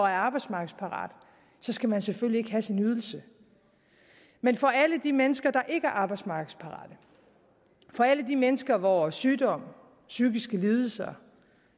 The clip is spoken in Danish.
er arbejdsmarkedsparat skal man selvfølgelig ikke have sin ydelse men for alle de mennesker der ikke er arbejdsmarkedsparate for alle de mennesker hvor sygdom psykiske lidelser